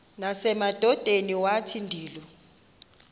nasemadodeni wathi ndilu